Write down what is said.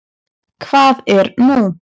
Hvað er nú?